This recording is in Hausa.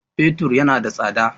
Fetur yana da tsada